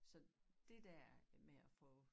Så det dér med at få